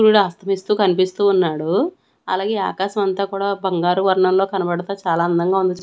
సూరుడాస్తువీస్తూ కనిపిస్తూ ఉన్నాడు అలాగే ఆకాశం అంతా కూడా బంగారు వర్ణంలో కనబడత చాలా అందంగా ఉంది.